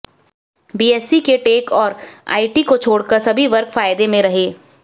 BSE के tech और IT को छोड़कर सभी वर्ग फायदे में रहे